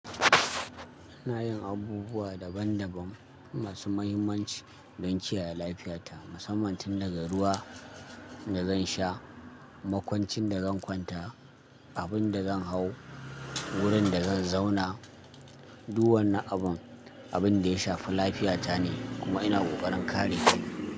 Ina yin abubuwa daban daban masu mahimmanci don kiyaye lafiyata, musamman tun daga ruwa da zan sha, makwancin da zan kwanta, abin da zan hau, wurin da zan zauna. Duk wannan abin, abin da ya shafi lafiyata ne kuma ina ƙoƙarin kare shi.